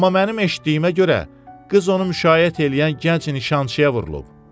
Amma mənim eşitdiyimə görə qız onu müşayiət eləyən gənc nişançıya vurulub.